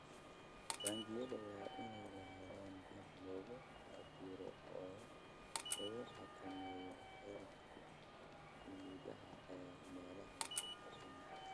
Taangiyada waa inay lahaadaan habab lagu cabbiro oo lagu xakameeyo heerarka kiimikada ee meelaha ku xeeran.